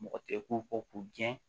Mɔgɔ tɛ k'u kɔ k'u gɛn